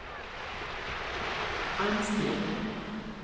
Ann Sten